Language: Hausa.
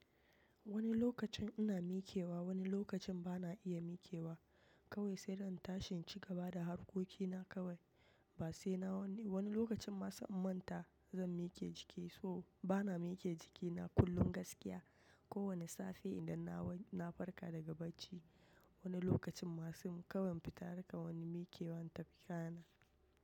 Wani lokacin ina mikewa, wani lokacin bana iya mikewa kawai sai da in tashin ci gaba da harkokina kawai. Ba sai na wani wani lokacin ma sai in manta zan mike jiki. So bana mike jikina kullum gaskiya. Ko wane safe idan na wa na farka daga bacci wani lokacin ma fim kawai in fita harkar wani mikewa in tafi kayana.